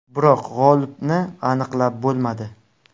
Biroq g‘olibni aniqlab bo‘lmadi.